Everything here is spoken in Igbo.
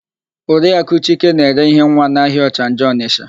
Oriakụ Chike na-ere íhé nwa n'ahịa Ọchanja Ọnịsha.